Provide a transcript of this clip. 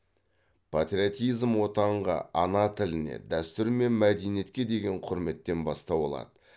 патриотизм отанға ана тіліне дәстүр мен мәдениетке деген құрметтен бастау алады